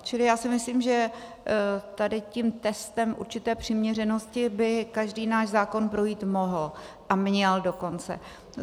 Čili já si myslím, že tady tím testem určité přiměřenosti by každý náš zákon projít mohl, a měl dokonce.